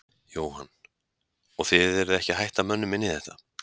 Jóhann: Og þið eruð ekki að hætta mönnum inn í þetta?